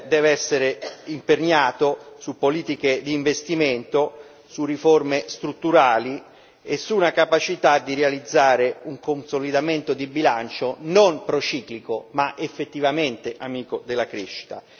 deve essere imperniato su politiche di investimento, su riforme strutturali e su una capacità di realizzare un consolidamento di bilancio non prociclico, ma effettivamente amico della crescita.